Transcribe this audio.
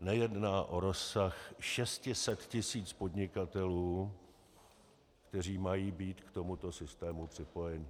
nejedná o rozsah 600 tis. podnikatelů, kteří mají být k tomuto systému připojeni.